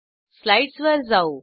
स्लाईडसवर जाऊ